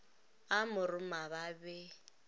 a mo roma ba be